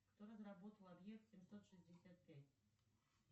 кто разработал объект семьсот шестьдесят пять